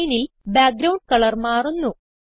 സ്ക്രീനിൽ background colour മാറുന്നു